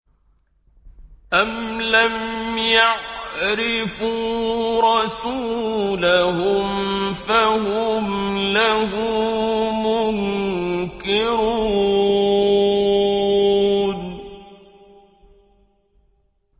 أَمْ لَمْ يَعْرِفُوا رَسُولَهُمْ فَهُمْ لَهُ مُنكِرُونَ